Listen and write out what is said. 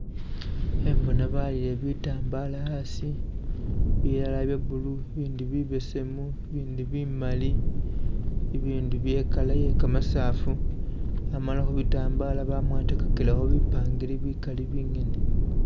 Khembona baalile bitambala hasi, bilala bya blue ibindi bibesemu, ibindi bimali, ibindi bye i'colour yekamasafu, amala khu bitambala bamwatakilekho bipangiri bikali bingene.